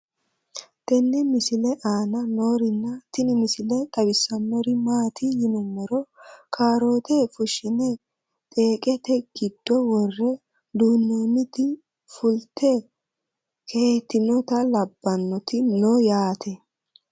tenne misile aana noorina tini misile xawissannori maati yinummoro kaarootte fushshinne xeeqette giddo woree duunoonnitti fulitte keehittinnotta labbannotti noo yaatte